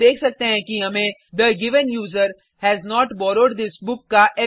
हम देख सकते हैं कि हमें the given user has not borrowed this book